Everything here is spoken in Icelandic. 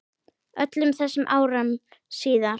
Öllum þessum árum síðar.